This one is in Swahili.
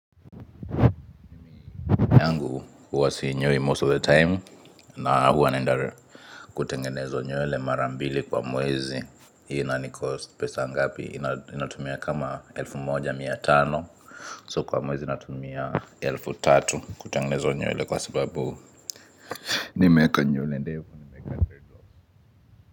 Yangu huwa sinyoi most of the time na huwa naenda kutengenezwa nywele mara mbili kwa mwezi. Inanicost pesa ngapi? Ninatumia kama elfu moja mia tano. So kwa mwezi natumia elfu tatu kutengenezwa nywele kwa sababu. Nimeweka nywele ndefu.